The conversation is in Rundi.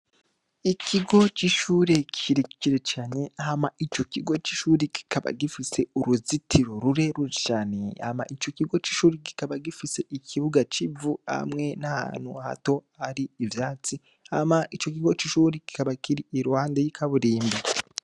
Ikigo c’ishure kirekire cane Hama ico kigo c’ishuri kikaba gifise uruzitiro rurerure cane , Hama ico kigo c’ishure kikaba gifise ikibuga c’ivu hamwe n’ahantu hato hari ivyatsi Hama ico kigo c’ishuri kikaba kiri iruhande y’ikaburimbo.